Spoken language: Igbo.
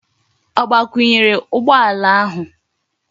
O gbakwunyere ugbo ala ahu?